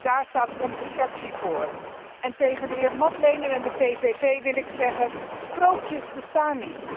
Daar staat onze fractie voor. Tegen de heer Madlener en de PVV wil ik zeggen dat sprookjes niet bestaan.